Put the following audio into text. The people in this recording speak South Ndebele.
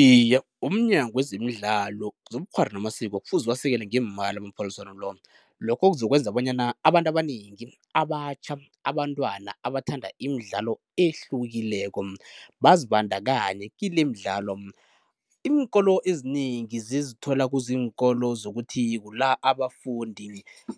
Iye, umNyango wezemiDlalo, zobuKghwari namaSiko kufuze uwasekele ngeemali amaphaliswano la, lokho kuzokwenza bonyana abantu abanengi abatjha, abantwana abathanda imidlalo ehlukileko bazibandakanye kilemidlalo. Iinkolo ezinengi zizithola kuziinkolo zokuthi kula abafundi